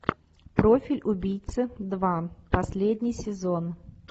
профиль убийцы два последний сезон